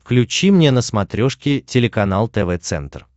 включи мне на смотрешке телеканал тв центр